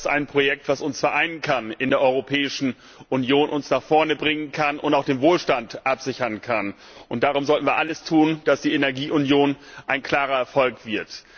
Denn das ist ein Projekt, das uns vereinen kann, uns in der Europäischen Union nach vorne bringen kann und auch den Wohlstand absichern kann. Darum sollten wir alles tun, damit die Energieunion ein klarer Erfolg wird.